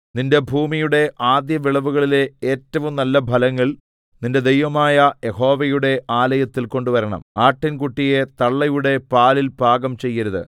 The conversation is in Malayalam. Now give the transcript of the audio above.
നിന്റെ ഭൂമിയുടെ ആദ്യവിളവുകളിലെ ഏറ്റവും നല്ലഫലങ്ങൾ നിന്റെ ദൈവമായ യഹോവയുടെ ആലയത്തിൽ കൊണ്ടുവരണം ആട്ടിൻകുട്ടിയെ തള്ളയുടെ പാലിൽ പാകം ചെയ്യരുത്